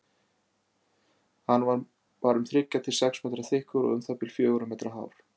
Hann var um þriggja til sex metra þykkur og um það bil fjögurra metra hár.